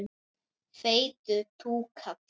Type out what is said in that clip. Feitur túkall.